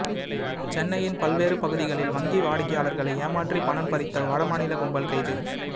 சென்னையின் பல்வேறு பகுதிகளில் வங்கி வாடிக்கையாளர்களை ஏமாற்றி பணம் பறித்த வடமாநில கும்பல் கைது